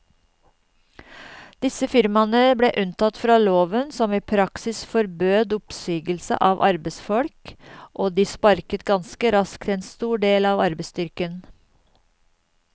Disse firmaene ble unntatt fra loven som i praksis forbød oppsigelse av arbeidsfolk, og de sparket ganske raskt en stor del av arbeidsstyrken.